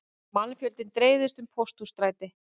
Mannfjöldinn dreifðist um Pósthússtræti